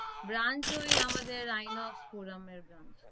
branch ওই আমাদের Inox forum এর branch